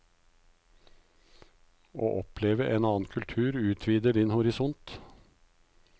Å oppleve en annen kultur utvider din horisont.